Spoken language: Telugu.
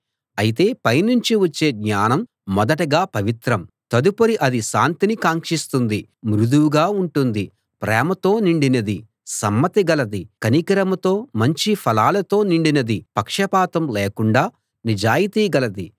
అయితే పైనుంచి వచ్చే జ్ఞానం మొదటగా పవిత్రం తదుపరి అది శాంతిని కాంక్షిస్తుంది మృదువుగా ఉంటుంది ప్రేమతో నిండినది సమ్మతి గలది కనికరంతో మంచి ఫలాలతో నిండినది పక్షపాతం లేకుండా నిజాయితీ గలది